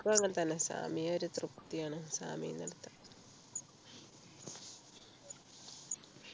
എനിക്കും അങ്ങനെ തന്നെ സാമിയ ഒരു തൃപ്തിയാണ് സാമിയന്നു എടുത്താൽ